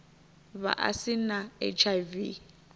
vha a si na hiv